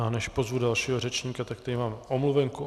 A než pozvu dalšího řečníka, tak tady mám omluvenku.